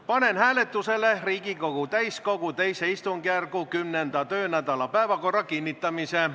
Panen hääletusele Riigikogu täiskogu II istungjärgu 10. töönädala päevakorra kinnitamise.